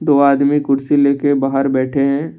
आदमी कुर्सी लेके बाहर बैठे हैं।